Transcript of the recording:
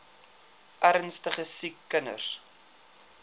ernstige siek kinders